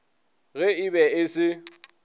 ge e be e se